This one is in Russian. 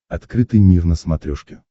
открытый мир на смотрешке